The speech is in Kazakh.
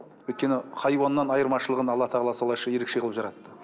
өйткені хайуаннан айырмашылығын алла тағала солайша ерекше қылып жаратты